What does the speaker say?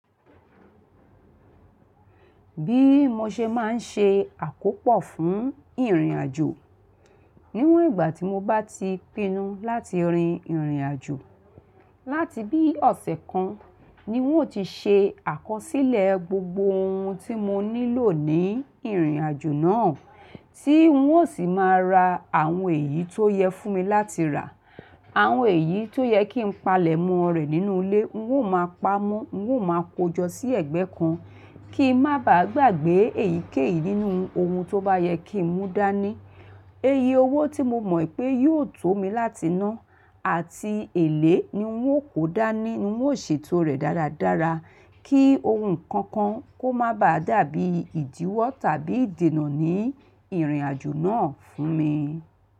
Bí mo ṣe máa ń ṣe àkópọ̀ fún ìrìnàjò, níwọ̀n ìgbà tí mo bá ti pinnu láti rin ìrìnàjò, láti bí ọ̀sẹ̀ kan ni oun ó ti ṣe àkọsílẹ̀ gbogbo ohun tí mo nílò ní ìrìnàjò náà, tí oun ó sì máa ra àwọn èyí tó yẹ fún mi láti rà, àwọn èyí tó yẹ kí n palẹ̀mọ́ rẹ̀ nínú ilé oun ó máa pamọ́, oun ó máa kójọ sí ẹ̀gbẹ́ kan kí n má baà gbàgbé èyíkéyìí nínú ohun tó bá yẹ kí n mú dání. Iye owó tí mo mọ̀ pé yóò tó mi láti ná, àti èlé ni oun ó kó dání, oun ó ṣe to rẹ̀ dáradára kí ohun kan kan kó má baà dàbí ìdíwọ́ tàbí ìdènà ní ìrìnàjò náà fún mi.